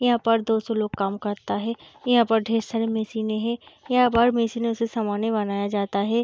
यहाँ पर दो सौ लोग काम करते हैं यहाँ पे ढेर सारी मशीनें हैं यहाँ पर मशीनों से सामाने बनाया जाता है।